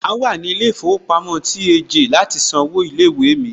Màá wà ní ilé ìfowópamọ́ TAJ láti san owó ilé ìwé mi.